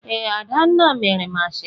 Ee, Adanna mere m ashebi